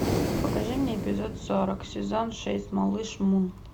покажи мне эпизод сорок сезон шесть малыш мун